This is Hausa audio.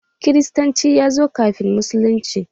Kristanci ya zo kafin musulunci.